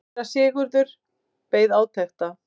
Síra Sigurður beið átekta.